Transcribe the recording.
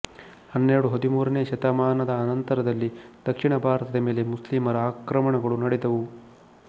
ಹನ್ನೆರಡು ಹದಿಮೂರನೆಯ ಶತಮಾನದ ಅನಂತರದಲ್ಲಿ ದಕ್ಷಿಣ ಭಾರತದ ಮೇಲೆ ಮುಸ್ಲಿಮರ ಆಕ್ರಮಣಗಳು ನಡೆದವು